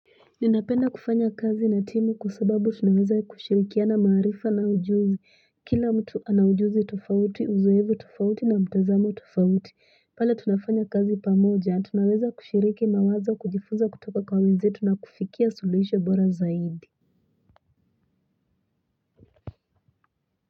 Ninapenda kufanya kazi na timu kwasababu tunaweza kushirikia na maarifa na ujuzi kila mtu ana ujuzi tofauti uzoefu tufauti na mtazamo tofauti pale tunafanya kazi pamoja tunaweza kushiriki mawazo kujifunza kutoka kwa wenzetu na kufikia suluhisho bora zaidi.